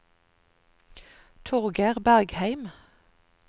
Torgeir Bergheim